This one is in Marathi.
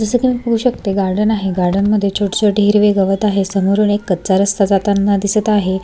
जस कि मी पाहू शकते गार्डन आहे गार्डनमध्ये छोटे छोटे हिरवे गवत आहे समोरून एक कचा रस्ता जाताना दिसत आहे.